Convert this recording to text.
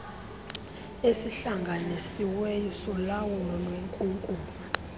esihlanganisiweyo solawulo lwenkunkuma